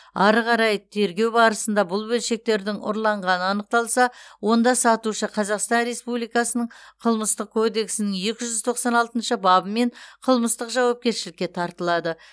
ары қарай тергеу барысында бұл бөлшектердің ұрланғаны анықталса онда сатушы қазақстан республикасының қылмыстық кодексінің екі жүз тоқсан алтыныш бабымен қылмыстық жауапкершілікке тартылады